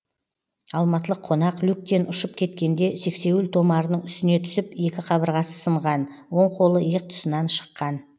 алматылық қонақ люктен ұшып кеткенде сексеуіл томарының үстіне түсіп екі қабырғасы сынған оң қолы иық тұсынан шыққан